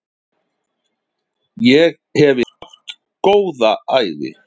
Ég hef átt góða ævi.